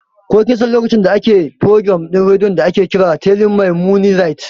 Ko kinsan lokacin da ake furogiram ɗin radio da aƙe ƙira "tales my moonlight"?